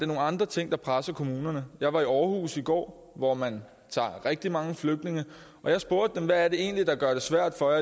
nogle andre ting der presser kommunerne jeg var i aarhus i går hvor man tager rigtig mange flygtninge og jeg spurgte dem hvad er det egentlig der gør det svært for